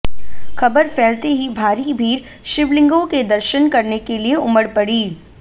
खबर फैलते ही भारी भीड़ शिवलिंगों के दर्शन करने के लिए उमड़ पड़ी